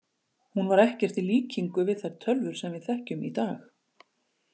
Hún var því ekkert í líkingu við þær tölvur sem við þekkjum í dag.